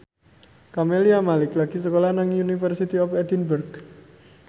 Camelia Malik lagi sekolah nang University of Edinburgh